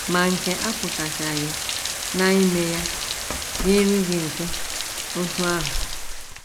Ma nke a apụtachaghị na ime ya dịịrị gị mfe otú ahụ.